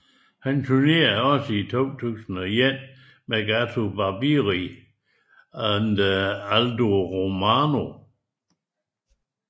Han tournerede også i 2001 med Gato Barbieri and Aldo Romano